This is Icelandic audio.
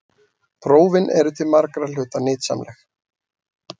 Prófin eru til margra hluta nytsamleg.